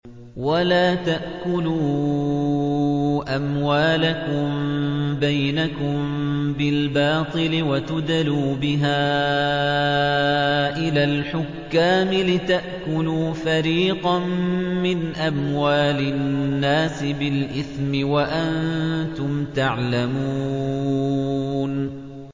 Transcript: وَلَا تَأْكُلُوا أَمْوَالَكُم بَيْنَكُم بِالْبَاطِلِ وَتُدْلُوا بِهَا إِلَى الْحُكَّامِ لِتَأْكُلُوا فَرِيقًا مِّنْ أَمْوَالِ النَّاسِ بِالْإِثْمِ وَأَنتُمْ تَعْلَمُونَ